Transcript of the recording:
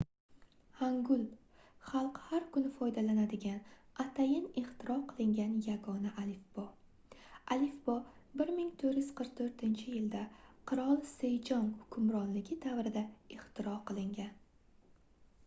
hangul — xalq har kuni foydalanadigan atayin ixtiro qilingan yagona alifbo. alifbo 1444-yilda qirol sejong 1418–1450 hukmronligi davrida ixtiro qilingan